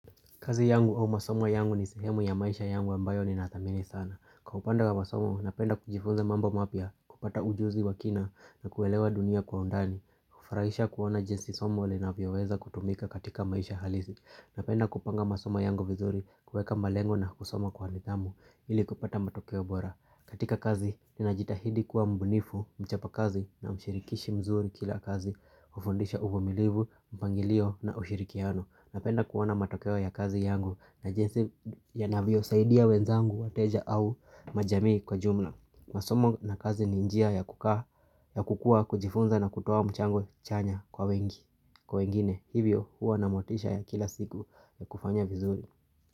Kazi yangu au masoma yangu ni sehemu ya maisha yangu ambayo ninathamini sana. Kwa upanda wa masoma, napenda kujifuza mambo mapya kupata ujuzi wa kina na kuelewa dunia kwa undani. Kufurahisha kuona jinsi somo linavyoweza kutumika katika maisha halisi. Napenda kupanga masoma yangu vizuri kuweka mbalengo na kusoma kwa nidhamu ili kupata matokeo bora. Katika kazi, ninajitahidi kuwa mbunifu, mchapa kazi na mshirikishi mzuri kila kazi, kufundisha uvumilivu, mpangilio na ushirikiano. Napenda kuona matokeo ya kazi yangu na jensi yanavyo saidia wenzangu wateja au majamii kwa jumla. Masomo na kazi ni njia ya kukaa ya kukua, kujifunza na kutoa mchango chanya kwa wengi. Kwa wengine, hivyo huwa na motisha ya kila siku ya kufanya vizuri.